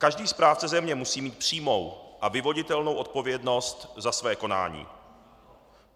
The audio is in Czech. Každý správce země musí mít přímou a vyvoditelnou odpovědnost za své konání.